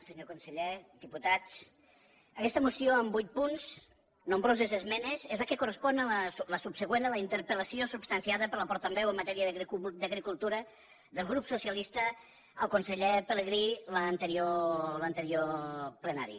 senyor conseller diputats aguesta moció amb vuit punts nombroses esmenes és la que correspon la subsegüent a la interpel·lació substanciada per la portaveu en matèria d’agricultura del grup socialista al conseller pelegrí en l’anterior plenari